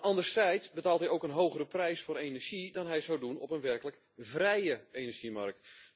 Anderzijds betaalt hij ook een hogere prijs voor energie dan hij zou doen op een werkelijk vrije energiemarkt.